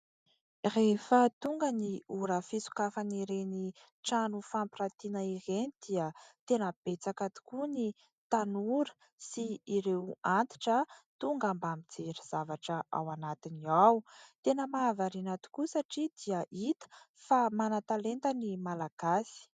Rehefa tonga ny ora fisokafan'ireny trano fampirantiana ireny dia tena betsaka tokoa ny tanora sy ireo antitra tonga mba mijery zavatra ao anatiny ao, tena mahavariana tokoa satria dia hita fa manan-talenta ny Malagasy.